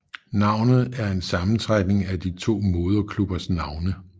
Navnet er en sammentrækning af de to moderklubbers navne